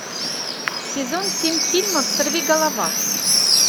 сезон семь фильма сорви голова